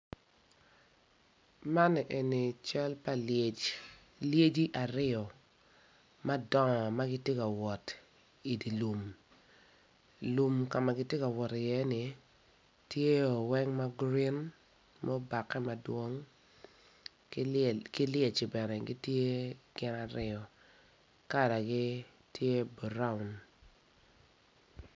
Man eni cal pa lyec, lyeci aryo madong ma gitye ka wot i dye lum lum ka magitye ka wot iye ni tye oweng ma green mubake madwong ki lyeci bene gitye gin aryo kalagi tye buraun.